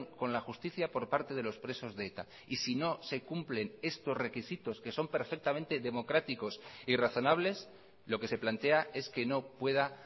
con la justicia por parte de los presos de eta y si no se cumplen estos requisitos que son perfectamente democráticos y razonables lo que se plantea es que no pueda